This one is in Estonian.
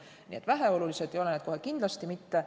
Nii et väheolulised ei ole need kohe kindlasti mitte.